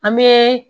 An bɛ